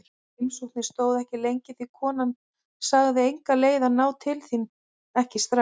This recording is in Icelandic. Heimsóknin stóð ekki lengi því konan sagði enga leið að ná til þín, ekki strax.